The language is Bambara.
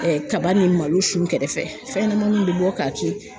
kaba ni malo sun kɛrɛfɛ fɛn ɲɛnɛmaniw bɛ bɔ k'a ci.